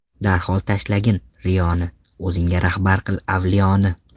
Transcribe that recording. Darhol tashlagin riyoni, O‘zingga rahbar qil avliyoni.